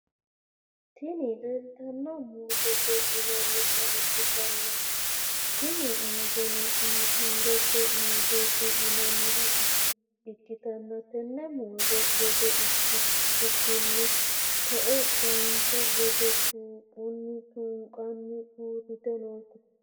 Tini leleitano muzette yinanita ikitana tinimuzzeno indete muzetti yinaniha ikitana te’ene muze gede ikitukini tooe baanoki gede tuquni tuniqqena urittanote